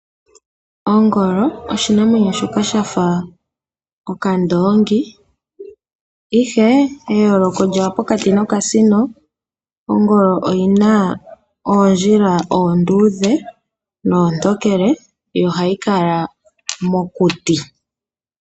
Ongolo oshinamwenyo shoka shafa okandoongi ihe eeyoloko lyawo pokati kayo nokasino, ongolo oyina oondjila oonduudhe noontokele yo ohayi kala mokuti.